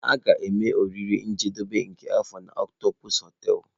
A ga-eme oriri njedebe nke afọ na Octopus hoteelu.